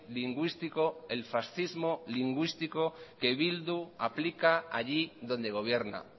lingüístico el fascismo lingüístico que bildu aplica allí donde gobierna